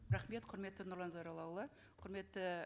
рахмет құрметті нұрлан зайроллаұлы құрметті